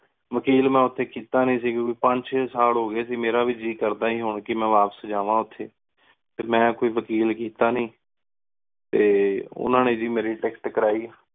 ਵਕੀਲ ਮੇਂ ਓਥੀ ਕੀਤਾ ਨੀ ਪਚ ਚੀ ਸਾਲ ਹੋ ਗਏ ਸੀ ਮੇਰਾ ਵੀ ਜੀ ਕਰਦਾ ਸੀ ਹੁਣ ਕੋ ਮੈਂ ਵਾਪਿਸ ਜਾਵਾ ਓਥੇ ਫਿਰ ਮੈਂ ਕੋਈ ਵਕੀਲ ਕੀਤਾ ਨੀ ਟੀ ਓਹਨਾ ਨੀ ਗ ਮੇਰੀ ticket ਕਰਾਈ